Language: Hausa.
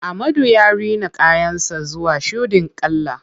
Ahmadu ya rina kayan sa zuwa shuɗin kala.